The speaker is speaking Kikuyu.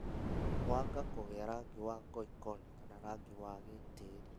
Mwanga kũgĩa rangi wa ngoikoni kana rangi wa gĩtĩĩri